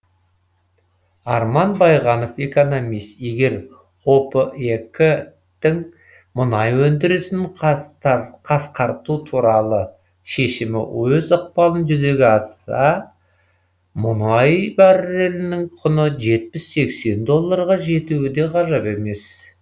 арман байғанов экономист егер опек тің мұнай өндірісін қасқарту туралы шемімі өз ықпалын жүргізе алса мұнай баррелінің құны жетпіс сексен долларға жетуі де ғажап емес